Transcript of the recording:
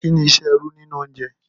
Kí ni iṣẹ́ irú nínú oúnjẹ?